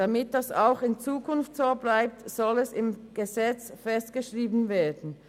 Damit das auch in Zukunft so bleibt, soll es im Gesetz festgeschrieben werden.